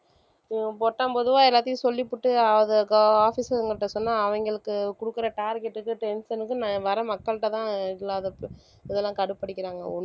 உம் பொத்தாம் பொதுவா எல்லாத்தையும் சொல்லிப்போட்டு அதை officer கிட்ட சொன்னா அவங்களுக்கு குடுக்கற target க்கும் tension க்கும் வர மக்கள்கிட்டதான் இதெல்லாம் கடுப்பு அடிக்கிறாங்க.